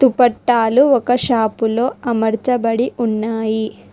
దుపట్టాలు ఒక షాపులో అమరచబడి ఉన్నాయి.